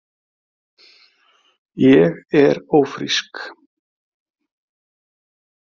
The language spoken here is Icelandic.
Ég er ófrísk!